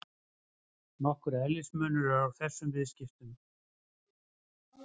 Nokkur eðlismunur er á þessum viðskiptum.